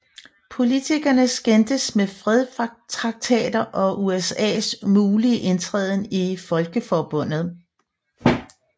Politikerne skændtes om fredstraktater og USAs mulige indtræden i Folkeforbundet